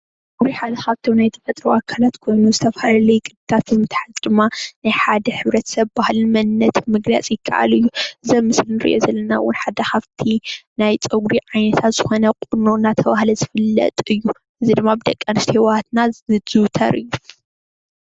እዚ ሓደ ካብቶም ናይ ተፈጥሮ አካላት ኮይኑ ዝተፈላለዩ ቅድታት ምትሓዝ ድማ ናይ ሓደ ሕብረተሰብ ባህልን መንነትን ምግላፅ ይከኣል እዩ፡፡ እዚ አብ ምስሊ እንርኦ ዘለና እውን ሓደ ካብቲ ናይ ፀጉሪ ዓይነት ዝኾነ ቁኖ እናተባህለ ዝፍለጥ እዩ፡፡ እዚ ድማ ብደቂ አንስትዮ አሕዋትና ዝዝውተር እዩ ፡፡